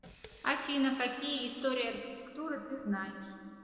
афина какие история архитектуры ты знаешь